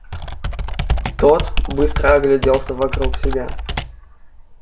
тот быстро огляделся вокруг себя